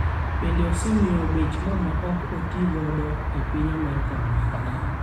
Bende osemiyo bech mo ma ok otigodo e piny Amerka omedore